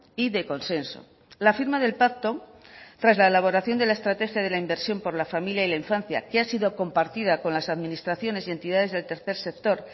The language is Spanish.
y de consenso la firma del pacto tras la elaboración de la estrategia de la inversión por la familia y la infancia que ha sido compartida con las administraciones y entidades del tercer sector